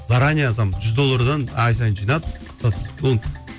заранее там жүз доллардан ай сайын жинап